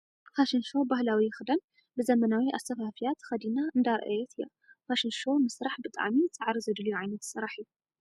ፋሽን ሾው ባህላዊ ክዳን ብዘመናዊ ኣሰፋፍያ ተከዲና እንዳረአየት እያ ። ፋሽን ሾው ምስርሕ ብጣዕሚ ፃዕሪ ዘድልዮ ዓይነት ስራሕ እዩ ።